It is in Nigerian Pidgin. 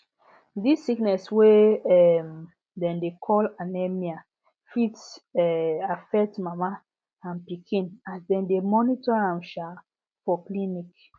this sickness wey um dem dey call anemia fit um affect mama and pikin as dem dey monitor am um for clinic